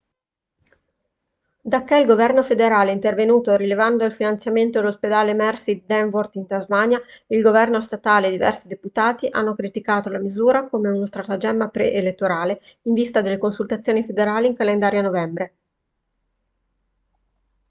dacché il governo federale è intervenuto rilevando il finanziamento dell'ospedale mersey di devonport in tasmania il governo statale e diversi deputati hanno criticato la misura come uno stratagemma preelettorale in vista delle consultazioni federali in calendario a novembre